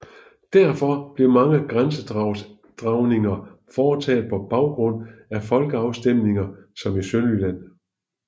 Derfor blev mange grænsedragninger foretaget på baggrund af folkeafstemninger som i Sønderjylland